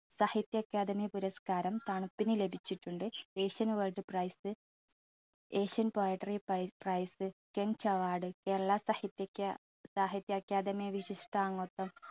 സാഹിത്യ അക്കാദമി പുരസ്കാരം തണുപ്പിന് ലഭിച്ചിട്ടുണ്ട്. Asian poetry prize, Asian poetry prize, കെൻസ് അവാർഡ്, കേരള സാഹിത്യ അക്കാ~സാഹിത്യ അക്കാദമി വിശിഷ്ടാംഗത്വം